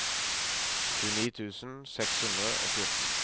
tjueni tusen seks hundre og fjorten